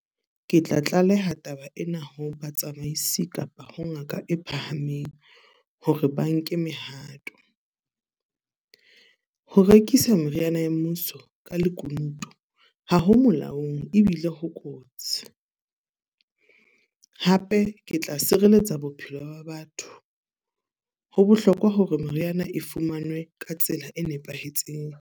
Ke tla tlaleha taba ena ho batsamaisi kapa ho ngaka e phahameng, hore ba nke mehato. Ho rekisa meriana ya mmuso ka lekunutu, ha ho molaong ebile ho kotsi. Hape ke tla sireletsa bophelo ba batho. Ho bohlokwa hore meriana e fumanwe ka tsela e nepahetseng.